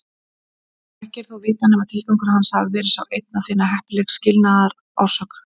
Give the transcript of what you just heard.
Ekki er þó vitað nema tilgangur hans hafi verið sá einn að finna heppilega skilnaðarsök.